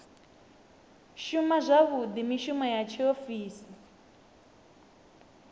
shuma zwavhuḓi mishumo ya tshiofisi